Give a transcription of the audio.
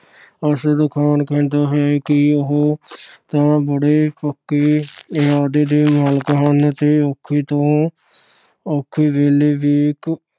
ਅਰਸ਼ਦ ਖਾਨ ਕਹਿੰਦਾ ਹੈ ਕਿ ਉਹ ਤਾਂ ਬੜੇ ਪੱਕੇ ਇਰਾਦੇ ਦੇ ਮਾਲਕ ਹਨ ਤੇ ਔਖੇ ਤੋਂ ਔਖੇ ਵੇਲੇ ਵੀ